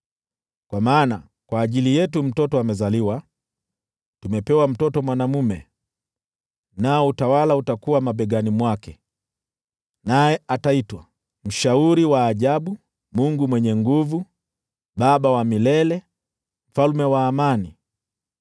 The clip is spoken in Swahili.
Kwa maana, kwa ajili yetu mtoto amezaliwa, tumepewa mtoto mwanaume, nao utawala utakuwa mabegani mwake. Naye ataitwa Mshauri wa Ajabu, Mungu Mwenye Nguvu, Baba wa Milele, Mfalme wa Amani.